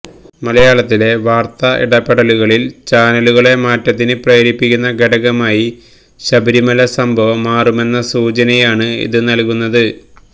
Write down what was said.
മലയാളത്തിലെ വാര്ത്ത ഇടപെടലുകളില് ചാനലുകളെ മാറ്റത്തിന് പ്രേരിപ്പിക്കുന്ന ഘടകമായി ശബരിമല സംഭവം മാറുമെന്ന സൂചനയാണ് ഇത് നല്കുന്നത്